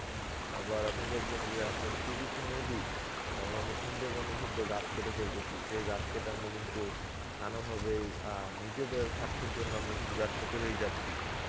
আবার আপনি দেখবেন যে আমরা শুধু কী নদী, যেমন আমরা সুন্দরবনে কিন্তু গাছ কেটে ফেলতেছি. সেই গাছ কেটে আমরা কিন্তু নানা ভাবেই অ্যাঁ নিজেদের স্বার্থের জন্য আমরা কিন্তু ব্যবসা করেই যাচ্ছি.